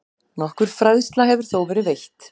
Nokkur fræðsla hefur þó verið veitt.